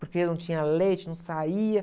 Porque eu não tinha leite, não saía.